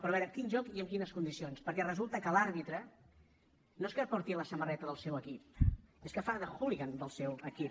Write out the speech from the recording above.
però a veure quin joc i amb quines condicions perquè resulta que l’àrbitre no és que porti la samarreta del seu equip és que fa de hooligan del seu equip